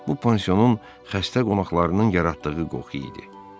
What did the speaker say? Bu pansionun xəstə qonaqlarının yaratdığı qoxu idi.